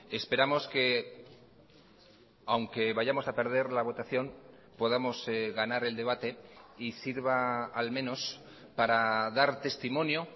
esperamos que aunque vayamos a perder la votación podamos ganar el debate y sirva al menos para dar testimonio